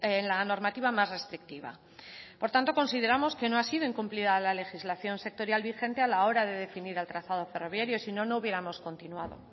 en la normativa más restrictiva por tanto consideramos que no ha sido incumplida la legislación sectorial vigente a la hora de definir el trazado ferroviario sino no hubiéramos continuado